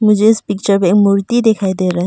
मुझे इस पिक्चर में मूर्ति दिखाई दे रहा है।